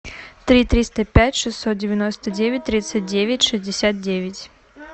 три триста пять шестьсот девяносто девять тридцать девять шестьдесят девять